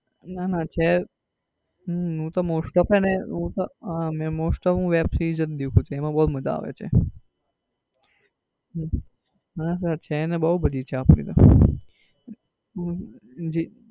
ના ના છે હમ હું તો most off છે હું તો અ most off હું તો web series જ દેખું છું એમાં બઉ માજા આવે છે. ના ના છે ને બઉ બધી છે આપડી તો જી